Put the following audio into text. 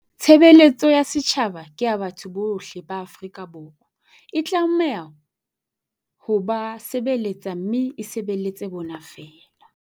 Tshebeletso ya setjhaba ke ya batho bohle ba Afrika Borwa. E tlameha ho ba se beletsa mme e sebeletse bona feela.